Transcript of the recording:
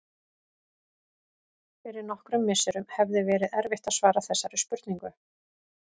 Fyrir nokkrum misserum hefði verið erfitt að svara þessari spurningu.